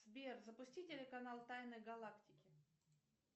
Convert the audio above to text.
сбер запусти телеканал тайны галактики